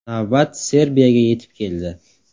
Navbat Serbiyaga yetib keldi.